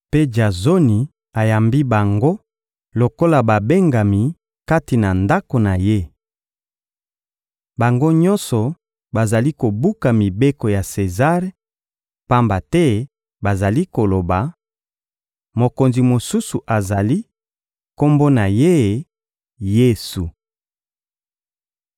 mpe Jazoni ayambi bango lokola babengami kati na ndako na ye. Bango nyonso bazali kobuka mibeko ya Sezare, pamba te bazali koloba: «Mokonzi mosusu azali, Kombo na Ye: Yesu!»